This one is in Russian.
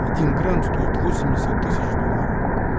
один грамм стоит восемьдесят тысяч долларов